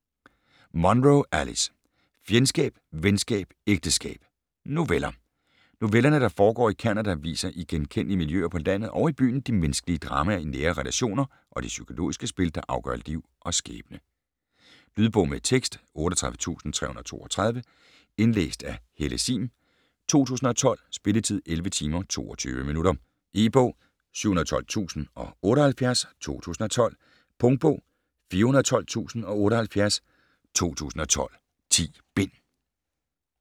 Munro, Alice: Fjendskab, venskab, ægteskab: noveller Novellerne, der foregår i Canada, viser i genkendelige miljøer på landet og i byen de menneskelige dramaer i nære relationer og de psykologiske spil der afgør liv og skæbne. Lydbog med tekst 38332 Indlæst af Helle Sihm, 2012. Spilletid: 11 timer, 22 minutter. E-bog 712078 2012. Punktbog 412078 2012. 10 bind.